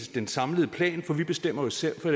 den samlede plan for vi bestemmer jo selv det